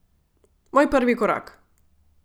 Moj prvi korak.